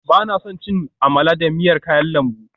Ba na son cin amala da miyar kayan lambu